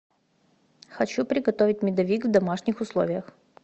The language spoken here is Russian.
хочу приготовить медовик в домашних условиях